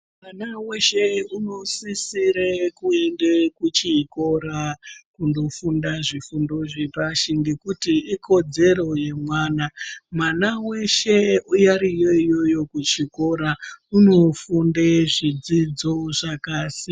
Mwana wese unosisa kuinde kuchikora kundofunda zvifundo zvepashi ngekuti ikodzero yemwana. Mwana weshe ariyo iyoyo kuzvikora unofunde zvidzidzo zvakasiyana siyana.